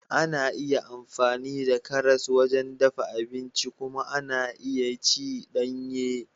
Ana iya amfani da karas wajen dafa abinci kuma ana iya ci danye.